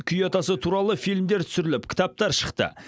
күй атасы туралы фильмдер түсіріліп кітаптар шықты